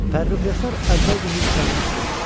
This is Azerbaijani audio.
Pərrux Yasar əvvəlcə hirslənmişdi.